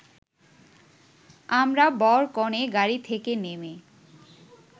আমরা বর-কনে গাড়ি থেকে নেমে